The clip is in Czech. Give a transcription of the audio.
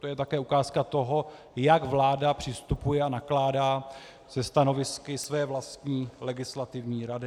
To je také ukázka toho, jak vláda přistupuje a nakládá se stanovisky své vlastní legislativní rady.